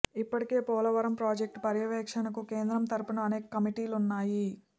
ఇప్పటికే పోలవరం ప్రాజెక్టు పర్యవేక్షణకు కేంద్రం తరపున అనేక కమిటీలున్నాయి